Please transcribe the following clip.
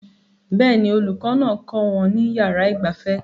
Bẹ́ẹ̀ ni olùkọ́ náà kọ́ wọn ní yàrá ìgbafẹ́